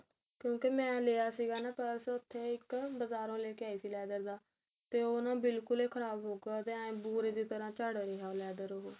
ਕਿਉਂਕਿ ਮੈਂ ਲਿਆ ਸੀਗਾ ਨਾ purse ਉੱਥੇ ਇੱਕ ਬਜਾਰੋ ਲੈ ਕੇ ਆਈ ਸੀ leather ਦਾ ਤੇ ਉਹ ਨਾ ਬਿਲਕੁਲ ਹੀ ਖਰਾਬ ਹੋਉਗਾ ਜਾਂ ਬੂਰੇ ਦੀ ਤਰਾਂ ਝੜ ਗਿਆ leather ਉਹ